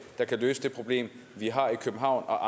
der kan løse det problem vi har i københavn og